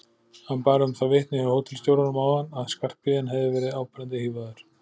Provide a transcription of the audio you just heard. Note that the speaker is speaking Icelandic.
Hann bar um það vitni hjá hótelstjóranum áðan að Skarphéðinn hefði verið áberandi hífaður.